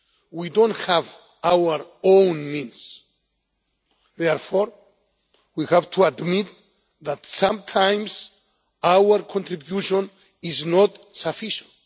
We don't have our own means, therefore we have to admit that sometimes our contribution is not sufficient.